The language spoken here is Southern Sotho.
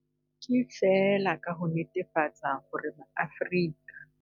Ke feela ka ho netefatsa hore Maafrika.